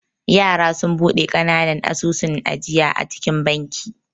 Yara sunfi bude kananan asusun ajiya a cikin banki.